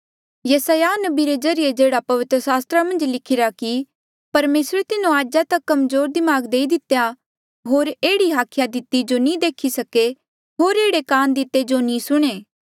यसायाह नबी रे ज्रीए जेह्ड़ा पवित्र सास्त्रा मन्झ लिखिरा कि परमेसरे तिन्हो आजा तक कमजोर दिमाग देई दितेया होर एह्ड़ी हाखिया दिती जो नी देखी सके होर एह्ड़े कान दिते जो नी सुणें